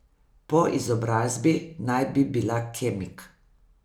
Po izobrazbi naj bi bila kemik.